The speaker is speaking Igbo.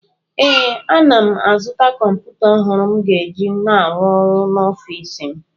Ee, ana m azụta kọmpụta ọhụrụ m ga-eji na-arụ ọrụ n’ọfịsi m